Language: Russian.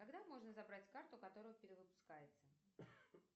когда можно забрать карту которая перевыпускается